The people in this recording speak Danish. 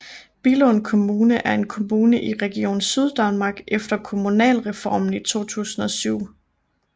Billund Kommune er en kommune i Region Syddanmark efter Kommunalreformen i 2007